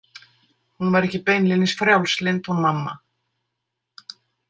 Hún var ekki beinlínis frjálslynd hún mamma.